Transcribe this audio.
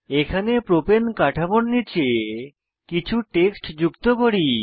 এখানে প্রপাণে কাঠামোর নীচে কিছু টেক্সট যুক্ত করি